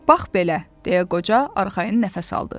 Bax belə, deyə qoca arxayın nəfəs aldı.